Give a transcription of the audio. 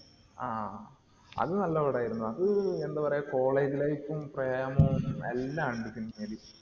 ആഹ് അത് നല്ല പടാരുന്നു. അത് എന്താ പറയുക college life ഉം, പ്രേമവും എല്ലാം ഒണ്ട് cinema യില്.